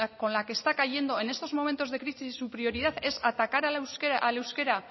con la que está cayendo en estos momentos de crisis es su prioridad es atacar al euskera al euskera